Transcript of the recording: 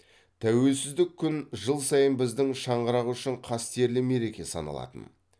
тәуелсіздік күн жыл сайын біздің шаңырақ үшін қастерлі мереке саналатын